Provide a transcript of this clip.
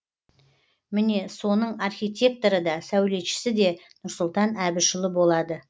міне соның архитекторы да сәулетшісі де нұрсұлтан әбішұлы болады